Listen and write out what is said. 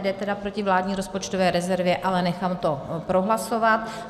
Jde tedy proti vládní rozpočtové rezervě, ale nechám to prohlasovat.